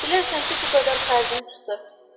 Bilərsən ki, bu qədər xərcin çıxdı.